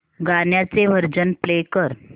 गाण्याचे version play कर